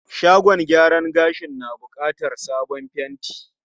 Shagon gyaran gashin na bukatar sabon fenti.